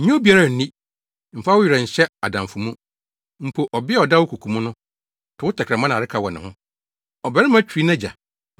Nnye obiara nni; mfa wo werɛ nhyɛ adamfo mu. Mpo, ɔbea a ɔda wo koko mu no to wo tɛkrɛma nnareka wɔ ne ho.